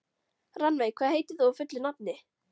Rannveig, hvað heitir þú fullu nafni?